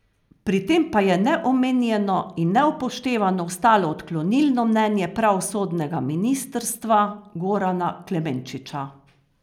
Pri tem pa je neomenjeno in neupoštevano ostalo odklonilno mnenje pravosodnega ministrstva Gorana Klemenčiča.